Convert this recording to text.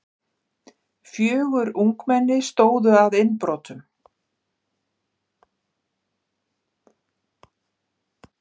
Fjögur ungmenni stóðu að innbrotum